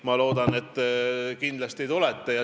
Ma loodan, et te kindlasti tulete.